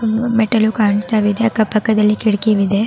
ಮೆಟ್ಟಿಲು ಕಾಣ್ತಾ ಇದೆ ಅಕ್ಕ ಪಕ್ಕದಲ್ಲಿ ಕಿಟಕಿ ಇದೆ .